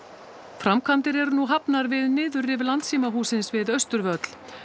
framkvæmdir eru nú hafnar við niðurrif við Austurvöll